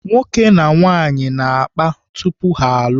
Nwoke na nwaanyị na-akpa tupu ha alụọ.